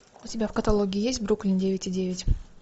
у тебя в каталоге есть бруклин девять и девять